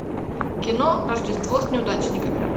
кино рождество с неудачниками